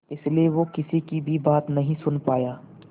इसलिए वो किसी की भी बात नहीं सुन पाया